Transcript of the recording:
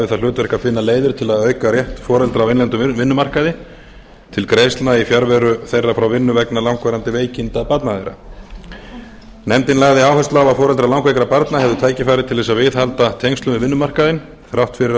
það hlutverk að finna leiðir til að auka rétt foreldra á innlendum vinnumarkaði til greiðslna í fjarveru þeirra frá vinnu vegna langvarandi veikinda barna þeirra nefndin lagði áherslu á að foreldrar langveikra barna hefðu tækifæri til þess að viðhalda tengslum við vinnumarkaðinn þrátt fyrir að